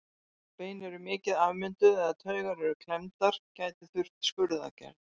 Ef bein eru mikið afmynduð eða taugar eru klemmdar gæti þurft skurðaðgerð.